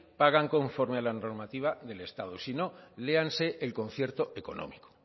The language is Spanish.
pagan conforma a la normativa del estado y si no léanse el concierto económico